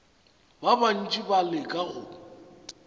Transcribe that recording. ba bantši ba leka go